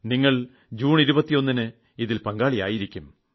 നിങ്ങൾ ജൂൺ 21ന് ഇതിൽ പങ്കാളിയായിരിക്കും